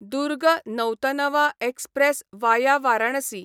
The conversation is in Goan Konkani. Durg Nautanwa express via Varanasi